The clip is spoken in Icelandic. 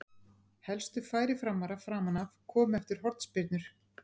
Helstu færi Framara framan af komu eftir hornspyrnur.